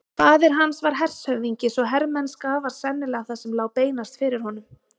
Faðir hans var hershöfðingi svo hermennska var sennilega það sem lá beinast fyrir honum.